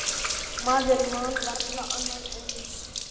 Maður man varla annað eins.